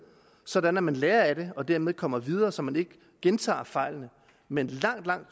sådan at man lærer af det og dermed kommer videre så man ikke gentager fejlene men langt langt